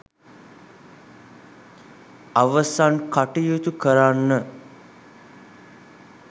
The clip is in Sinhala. අවසන් කටයුතු කරන්න